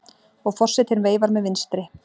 Og forsetinn veifar með vinstri.